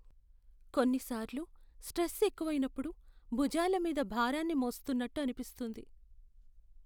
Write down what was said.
కొన్నిసార్లు, స్ట్రెస్ ఎక్కువైనప్పుడు, భుజాల మీద భారాన్ని మోస్తున్నట్టు అనిపిస్తుంది.